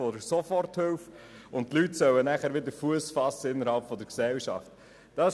Danach sollen die Leute wieder innerhalb der Gesellschaft Fuss fassen.